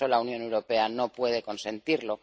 La Unión Europea no puede consentirlo.